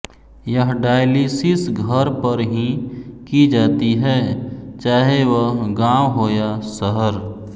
यह डायलिसिस घर पर ही की जाती है चाहे वह गांव हो या शहर